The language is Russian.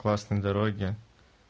классные дороги